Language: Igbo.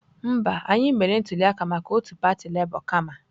Mba, anyị mere ntuli aka maka otu pati Labour kama.